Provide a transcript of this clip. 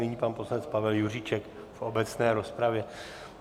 Nyní pan poslanec Pavel Juříček v obecné rozpravě.